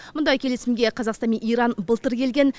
мұндай келісімге қазақстан мен иран былтыр келген